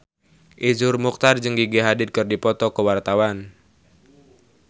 Iszur Muchtar jeung Gigi Hadid keur dipoto ku wartawan